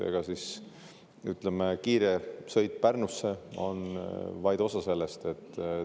Võimalus kiiresti Pärnusse sõita on vaid osa sellest.